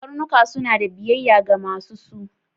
Karnuka suna ɗa biyayya ga masu su.